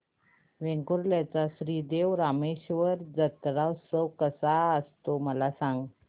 वेंगुर्ल्या चा श्री देव रामेश्वर जत्रौत्सव कसा असतो मला सांग